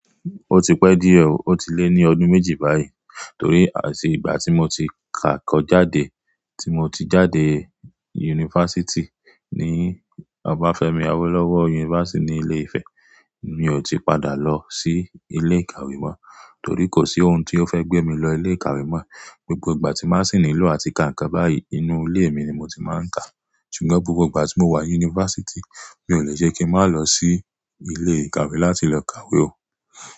Ó ti pẹ́ díẹ̀, ó ti lé ní ọdún méjì báyìí. Torí àti ìgbà tí mo ti kàkọ jáde, tí mo ti jáde yunifásítì ní Obafemi Awolowo University ní Ilé-Ifẹ̀, mi ò ti padà lọ sí ilé ìkàwé mọ́. Torí kò sí ohun tó fẹ́ gbé mi lọ ilé ìkàwé mọ́. Gbogbo ìgbà tí màá n sìní ìlú àti kàǹkọ̀ báyìí, inú ilé mi ni mo ti máa ń kà. Sùgbọ́n gbigbo ìgbà tí mo wà yunifásítì, mi ò le ṣe kí ń má lọ sí ilé ìkàwé láti lọ kàwé o.